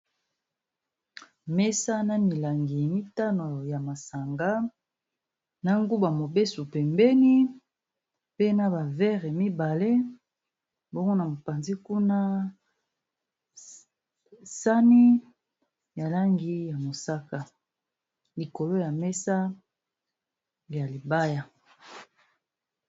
Mesa na milangi mitano ya masanga na nguba mobesu pembeni pe na ba verre mibale bongo na mopanzi kuna sani ya langi ya mosaka likolo ya mesa ya libaya.